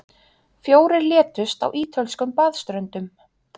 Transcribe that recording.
Fjórir létust á ítölskum baðströndum